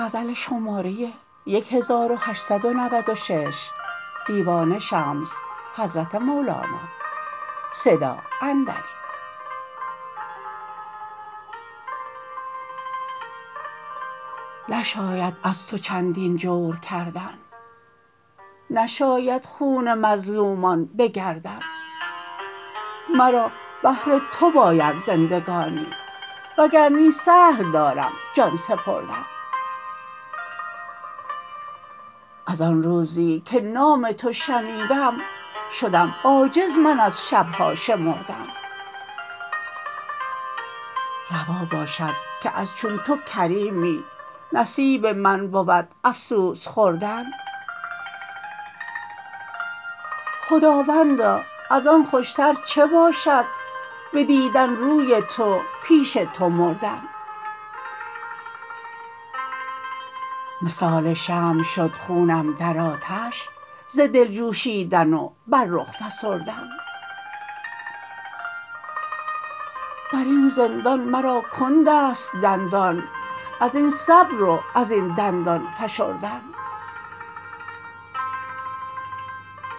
نشاید از تو چندین جور کردن نشاید خون مظلومان به گردن مرا بهر تو باید زندگانی وگر نی سهل دارم جان سپردن از آن روزی که نام تو شنیدم شدم عاجز من از شب ها شمردن روا باشد که از چون تو کریمی نصیب من بود افسوس خوردن خداوندا از آن خوشتر چه باشد بدیدن روی تو پیش تو مردن مثال شمع شد خونم در آتش ز دل جوشیدن و بر رخ فسردن در این زندان مرا کند است دندان از این صبر و از این دندان فشردن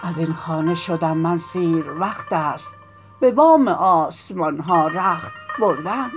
از این خانه شدم من سیر وقت است به بام آسمان ها رخت بردن